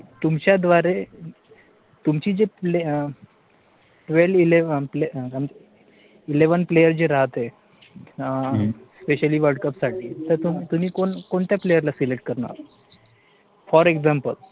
तुमच्या द्वारे, तुमचे जे, TWELVE ELEVEN eleven player जे राहते, SPECIALLY WORLDCUP साठी, तर तुम्ही कोणत्या PLAYER ला SELECT करणार? for example